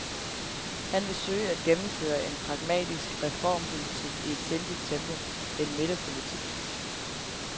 Han vil søge at gennemføre en pragmatisk reformpolitik i et sindigt tempo, en midterpolitik.